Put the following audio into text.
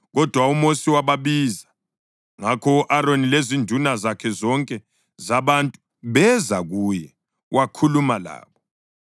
Kodwa uMosi wababiza; ngakho u-Aroni lezinduna zonke zabantu beza kuye, wakhuluma labo.